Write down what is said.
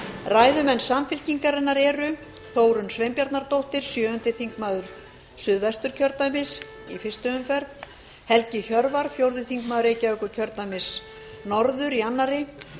ræðumenn samfylkingarinnar eru þórunn sveinbjarnardóttir sjöundi þingmaður suðvesturkjördæmis í fyrstu umferð helgi hjörvar fjórði þingmaður reykjavíkurkjördæmis norður í annarri